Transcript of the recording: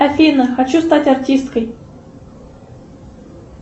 афина хочу стать артисткой